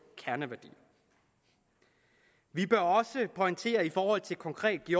kerneværdier vi bør også pointere konkret i